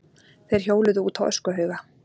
Þeir hjóluðu út á öskuhauga.